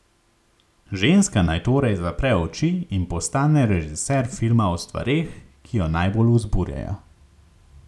Ženska naj torej zapre oči in postane režiser filma o stvareh, ki jo najbolj vzburjajo.